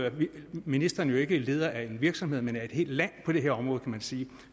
ministeren jo ikke leder af en virksomhed men af et helt land på det her område kan man sige